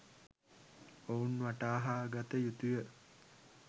ඔවුන් වටහාගත යුතුය.